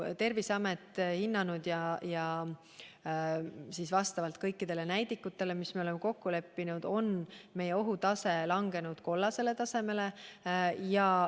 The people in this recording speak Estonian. Terviseamet on hinnanud, et vastavalt kõikidele näidikutele, mis me oleme kokku leppinud, on meie ohutase langenud kollasele tasemele.